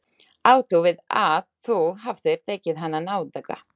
Áttu við að þú hafir tekið hana nauðuga?